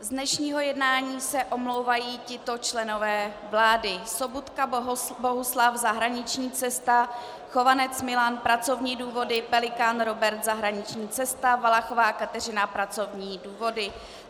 Z dnešního jednání se omlouvají tito členové vlády: Sobotka Bohuslav, zahraniční cesta, Chovanec Milan, pracovní důvody, Pelikán Robert, zahraniční cesta, Valachová Kateřina, pracovní důvody.